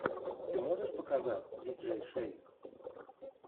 ты можешь показать диджей шейк